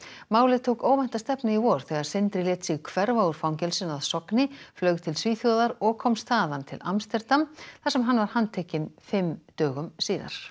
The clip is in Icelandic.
málið tók óvænta stefnu í vor þegar Sindri lét sig hverfa úr fangelsinu að Sogni flaug til Svíþjóðar og komst þaðan til Amsterdam þar sem hann var handtekinn fimm dögum síðar